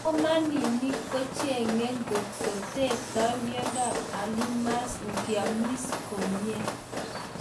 Somanik kocheng'e ngotko tektoi miondap alzheimers ngeamis komnye